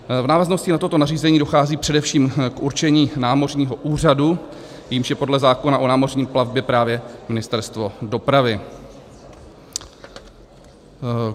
V návaznosti na toto nařízení dochází především k určení námořního úřadu, jímž je podle zákona o námořní plavbě právě Ministerstvo dopravy.